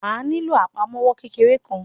Wàá nílò àpamọ́wọ́ kékeré kan.